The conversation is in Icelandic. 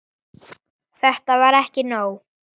Þetta var ekki nóg.